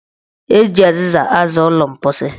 Eji azịza aza ụlọ mposi.